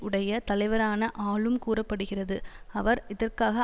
உடைய தலைவரான ஆலும் கூற படுகிறது அவர் இதற்காக